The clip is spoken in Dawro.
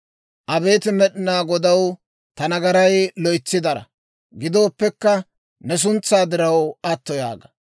Abeet Med'inaa Godaw, ta nagaray loytsi dara; gidooppekka, ne suntsaa diraw, atto yaaga.